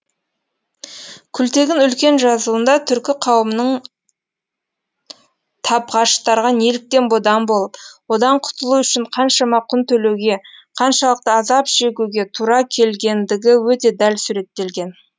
күлтегін үлкен жазуында түркі қауымының табғаштарға неліктен бодан болып одан құтылу үшін қаншама құн төлеуге қаншалықты азап шегуге тура келгендігі өте дәл суреттелген